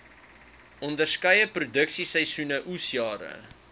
onderskeie produksieseisoene oesjare